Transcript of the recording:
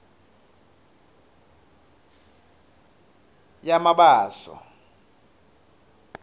yamabaso